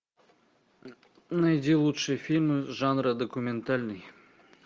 найди лучшие фильмы жанра документальный